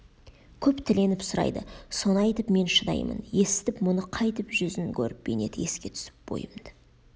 көп тіленіп сұрайды соны айтып мен шыдаймын есітіп мұны қайтіп жүзін көріп бейнеті еске түсіп бойымды